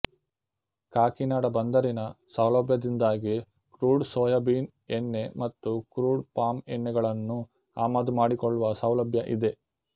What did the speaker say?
ಕಾಕಿನಾಡ ಬಂದರಿನ ಸೌಲಭ್ಯದಿಂದಾಗಿ crude soybean ಎಣ್ಣೆ ಮತ್ತು ಕ್ರೂಡ್ ಪಾಮ್ ಎಣ್ಣೆ ಗಳನ್ನೂ ಆಮದು ಮಾಡಿಕೊಳ್ಳುವ ಸೌಲಭ್ಯ ಇದೆ